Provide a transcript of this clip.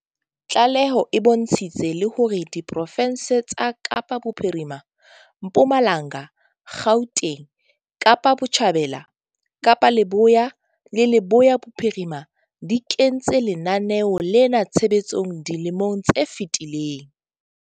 Tlaleho e bontshitse le hore diprofense tsa Kapa Bophirima, Mpumalanga, Gauteng, Kapa Botjhabela, Kapa Leboya le Leboya Bophirima di kentse lenaneo lena tshebetsong dilemong tse fetileng.